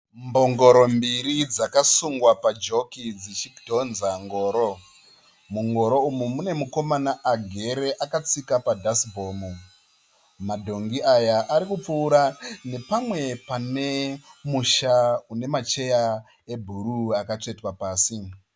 Mbongoro mbiri dzakasungwa pajoki dzichidhonza ngoro. Mungoro umu mune mukomana agere akatsika padhasibhomu. Madhongi aya arikupfuura nepamwe pane musha une macheya ebhuruu akatsvetwa pasi.